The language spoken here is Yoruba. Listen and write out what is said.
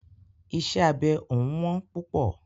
Iṣẹ́ abẹ òún wọ́n púpọ̀.